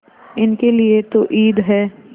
इनके लिए तो ईद है